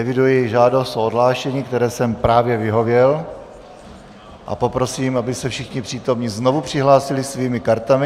Eviduji žádost o odhlášení, které jsem právě vyhověl, a poprosím, aby se všichni přítomní znovu přihlásili svými kartami.